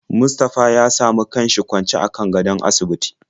Mustapha ya samu kanshi kwancw akan gadon asibiti.